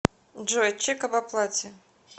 джой чек об оплате